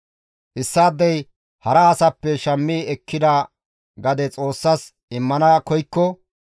« ‹Issaadey hara asappe shammi ekkida gade Xoossas immana koykko,